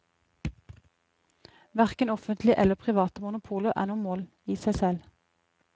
Hverken offentlige eller private monopoler er noe mål i seg selv.